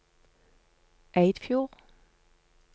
Eidfjord